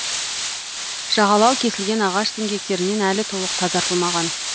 жағалау кесілген ағаш діңгектерінен әлі толық тазартылмаған